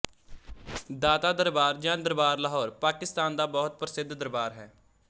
ਦਾਤਾ ਦਰਬਾਰ ਜਾਂ ਦਰਬਾਰ ਲਾਹੌਰ ਪਾਕਿਸਤਾਨ ਦਾ ਬਹੁਤ ਪ੍ਰਸਿੱਧ ਦਰਬਾਰ ਹੈ